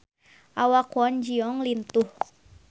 Awak Kwon Ji Yong lintuh